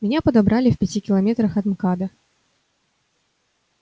меня подобрали в пяти километрах от мкада